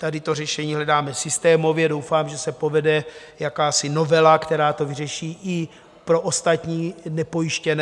Tady to řešení hledáme systémově, doufám, že se povede jakási novela, která to vyřeší i pro ostatní nepojištěné.